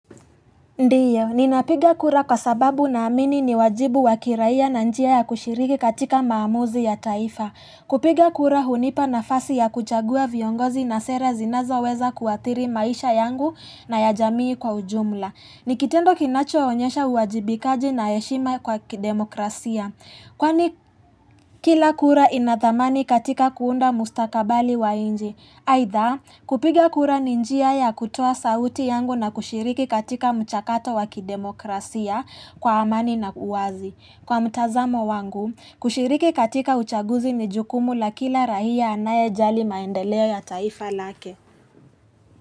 Ndiyo, ninapiga kura kwa sababu naamini ni wajibu wa kiraia na njia ya kushiriki katika maamuzi ya taifa. Kupiga kura hunipa nafasi ya kuchagua viongozi na sera zinazoweza kuathiri maisha yangu na ya jamii kwa ujumla. Ni kitendo kinachoonyesha uwajibikaji na heshima kwa kidemokrasia. Kwani kila kura ina thamani katika kuunda mustakabali wa inji. Haidha, kupiga kura ni njia ya kutoa sauti yangu na kushiriki katika mchakato wa kidemokrasia kwa amani na uwazi. Kwa mtazamo wangu, kushiriki katika uchaguzi ni jukumu la kila rahia anayejali maendeleo ya taifa lake.